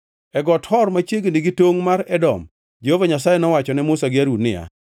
E Got Hor machiegni gi tongʼ mar Edom, Jehova Nyasaye nowacho ne Musa gi Harun niya,